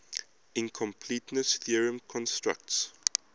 incompleteness theorem constructs